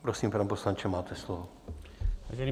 Prosím, pane poslanče, máte slovo.